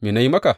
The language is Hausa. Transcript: Me na yi maka?